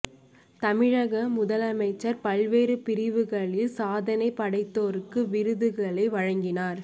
தமிழக முதல் அமைச்சர் பல்வேறு பிரிவுகளில் சாதனை படைத்தோருக்கு விருதுகளை வழங்கினார்